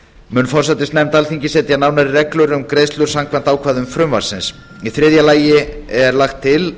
mun forsætisnefnd alþingis setja nánari reglur um greiðslur samkvæmt ákvæðum frumvarpsins í þriðja lagi er lagt til